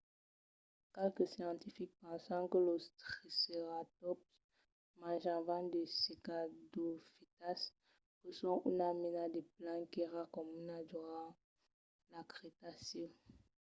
qualques scientifics pensan que los triceratòps manjavan de cicadofitas que son una mena de plan qu'èra comuna durant lo cretacèu